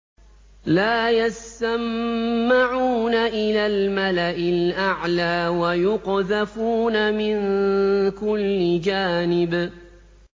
لَّا يَسَّمَّعُونَ إِلَى الْمَلَإِ الْأَعْلَىٰ وَيُقْذَفُونَ مِن كُلِّ جَانِبٍ